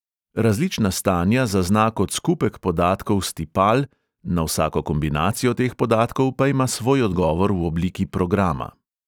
Različna stanja zazna kot skupek podatkov s tipal, na vsako kombinacijo teh podatkov pa ima svoj odgovor v obliki programa.